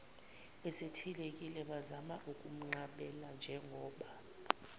esethelekile bazama ukumnqabelanjengoba